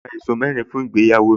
Mo ra ẹ̀ṣọ́ mẹ́rin fún ìgbéyàwó mi